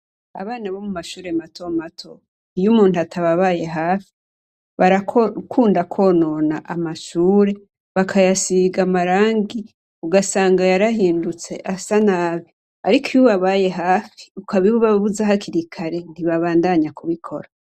Abana bo mumashure matomato, iyo umuntu atababaye hafi, barakunda kwonono amashure bakayasiga amarangi, ugasanga yarahindutse asa nabi. Ariko iyo ubabaye hafi, ukabibabuza hakiri kare, ntibabandanya kubikora.